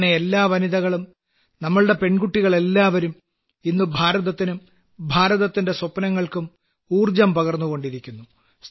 അങ്ങനെ എല്ലാ വനിതകളും നമ്മുടെ പെൺമക്കളെല്ലാവും ഇന്ന് ഭാരതത്തിനും ഭാരതത്തിന്റെ സ്വപ്നങ്ങൾക്കും ഊർജ്ജം പകർന്നുകൊണ്ടിരിക്കുന്നു